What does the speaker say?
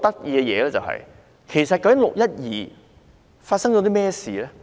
究竟"六一二"發生了甚麼事呢？